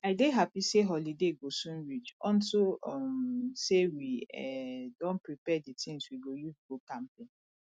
i dey happy say holiday go soon reach unto um say we um don prepare the things we go use go camping